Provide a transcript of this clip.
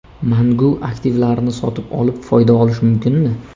Mangu aktivlarini sotib olib, foyda olish mumkinmi?